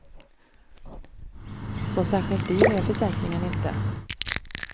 Så särskilt dyr är försäkringen inte.